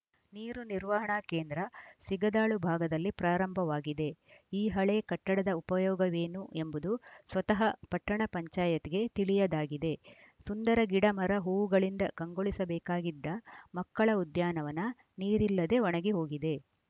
ನೀರು ನಿರ್ವಹಣಾ ಕೇಂದ್ರ ಸಿಗದಾಳು ಭಾಗದಲ್ಲಿ ಪ್ರಾರಂಭವಾಗಿದೆ ಈ ಹಳೆ ಕಟ್ಟಡದ ಉಪಯೋಗವೇನು ಎಂಬುದು ಸ್ವತಃ ಪಟ್ಟಣ ಪಂಚಾಯತ್ ಗೆ ತಿಳಿಯದಾಗಿದೆ ಸುಂದರ ಗಿಡ ಮರ ಹೂವುಗಳಿಂದ ಕಂಗೊಳಿಸ ಬೇಕಾಗಿದ್ದ ಮಕ್ಕಳ ಉದ್ಯಾನವನ ನೀರಿಲ್ಲದೆ ಒಣಗಿ ಹೋಗಿದೆ